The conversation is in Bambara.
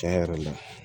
Tiɲɛ yɛrɛ la